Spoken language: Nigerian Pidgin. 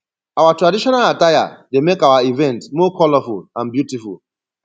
our traditional attire dey make our events more colorful and beautiful